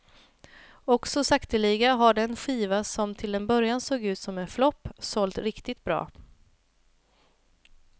Och så sakteliga har den skiva som till en början såg ut som en flopp sålt riktigt bra.